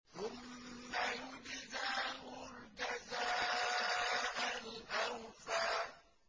ثُمَّ يُجْزَاهُ الْجَزَاءَ الْأَوْفَىٰ